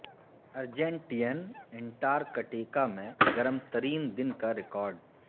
Argentine Antarctica میں گرم ترین دن کا ریکارڈ